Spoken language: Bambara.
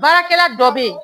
Baarakɛla dɔ bɛ yen